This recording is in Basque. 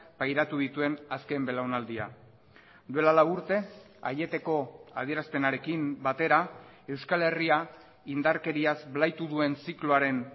pairatu dituen azken belaunaldia duela lau urte aieteko adierazpenarekin batera euskal herria indarkeriaz blaitu duen zikloaren